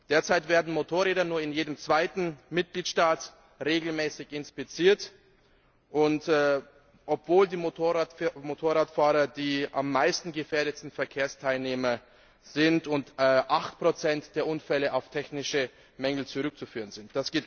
Derzeit werden Motorräder nur in jedem zweiten Mitgliedstaat regelmäßig inspiziert, obwohl die Motorradfahrer die am meisten gefährdeten Verkehrsteilnehmer sind und 8 der Unfälle auf technische Mängel zurückzuführen sind.